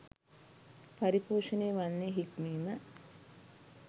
පරිපෝෂණය වන්නේ හික්මීම